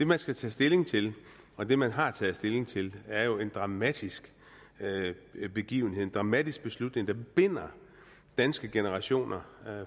man skal tage stilling til og det man har taget stilling til er jo en dramatisk begivenhed en dramatisk beslutning der binder danske generationer